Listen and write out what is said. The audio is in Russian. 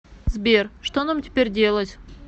сбер что нам теперь делать